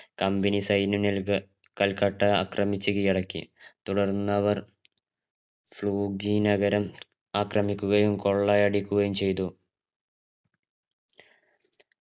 company സൈന്യം നിൽഗ കൽക്കട്ട ആക്രമിച് കീഴടക്കി തുടർന്ന് അവർ ഫ്രൂഗി നഗരം ആക്രമിക്കുകയും കൊള്ളയടിക്കുകയും ചെയ്തു